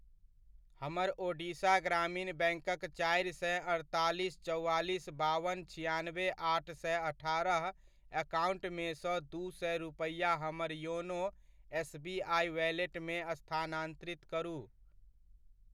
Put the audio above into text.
हमर ओडिशा ग्रामीण बैङ्कक चारि सए अड़तालीस चौआलिस बावन छिआनवे आठ सए अठारह एकाउन्ट मे सँ दू सए रुपैआ हमर योनो एसबीआइ वैलेट मे स्थानान्तरित करू।